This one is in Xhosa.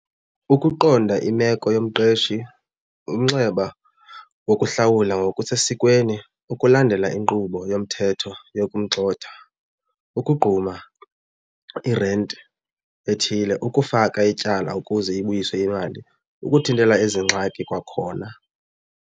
Ukuqonda imeko yomqeshi, umnxeba wokuhlawula ngokusesikweni, ukulandela inkqubo yomthetho yokumgxotha, ukugquma irenti ethile, ukufaka ityala ukuze ibuyiswe imali, ukuthintela ezi ngxaki kwakhona.